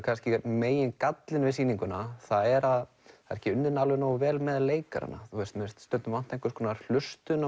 kannski megingallinn við sýninguna er að það er ekki unnið alveg nógu vel með leikarana mér finnst stundum vanta einhverja hlustun